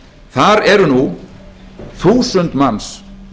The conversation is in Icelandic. þar eru nú þúsund manns